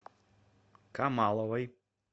камаловой